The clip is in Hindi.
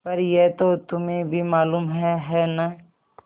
पर यह तो तुम्हें भी मालूम है है न